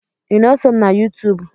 Ị na-esom na Yuutuub?